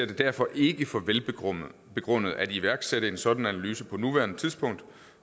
det derfor ikke for velbegrundet at iværksætte en sådan analyse på nuværende tidspunkt